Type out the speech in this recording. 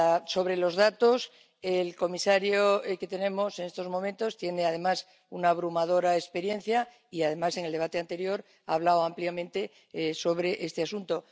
Sobre los datos, el comisario que tenemos en estos momentos tiene además una abrumadora experiencia y, además, en el debate anterior ha hablado ampliamente sobre este asunto.